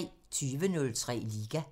20:03: Liga